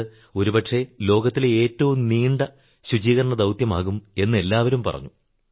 ഇത് ഒരു പക്ഷേ ലോകത്തിലെ ഏറ്റവും നീണ്ട ശുചീകരണ ദൌത്യമാകും എന്ന് എല്ലാവരും പറഞ്ഞു